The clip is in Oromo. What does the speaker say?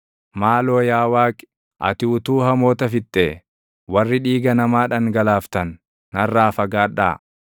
Maaloo yaa Waaqi, ati utuu hamoota fixxee! Warri dhiiga namaa dhangalaaftan, narraa fagaadhaa!